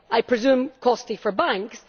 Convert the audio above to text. I presume costly for banks.